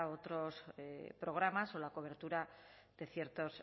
otros programas o la cobertura de ciertos